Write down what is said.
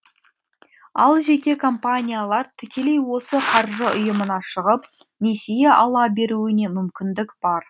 ал жеке компаниялар тікелей осы қаржы ұйымына шығып несие ала беруіне мүмкіндік бар